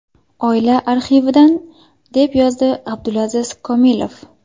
Oila arxividan”, deb yozdi Abdulaziz Komilov.